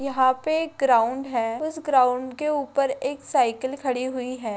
यहाँ पर एक ग्राउंड है इस ग्राउंड के ऊपर एक साइकिल खड़ी हुई है।